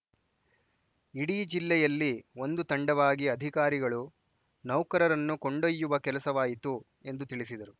ಇಡೀ ಜಿಲ್ಲೆಯಲ್ಲಿ ಒಂದು ತಂಡವಾಗಿ ಅಧಿಕಾರಿಗಳು ನೌಕರರನ್ನು ಕೊಂಡೊಯ್ಯುವ ಕೆಲಸವಾಯಿತು ಎಂದು ತಿಳಿಸಿದರು